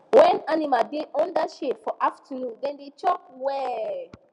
when animal da under shade for afternoon dem da chop well